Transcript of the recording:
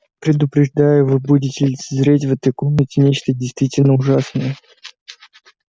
предупреждаю вы будете лицезреть в этой комнате нечто действительно ужасное